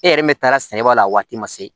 E yɛrɛ min taara sɛnɛ b'a la a waati ma se